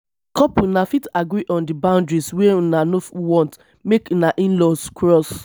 as couple una fit agree on di boundaries wey una no want make una inlaws cross